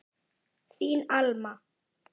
Þín Alma.